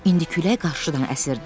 İndi külək qarşıdan əsirdi.